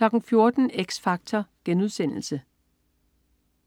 14.00 X Factor*